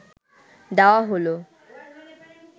দেওয়া হল